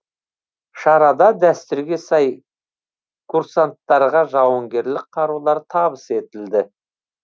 шарада дәстүрге сай курсанттарға жауынгерлік қарулар табыс етілді